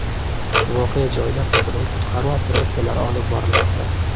Voqea joyida qidiruv-qutqaruv operatsiyasi olib borilmoqda.